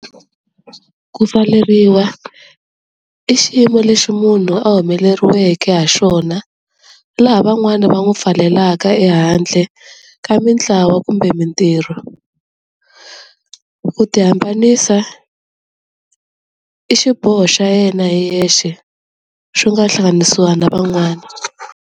Ku pfaleriwa i xiyimo lexi munhu a humeleriweke ha xona laha van'wani va n'wi pfaleleka ehandle ka mintlawa kumbe mintirho, ku ti hambanisa i xiboho xa yena hi yexe swi nga hlanganisiwa na van'wani.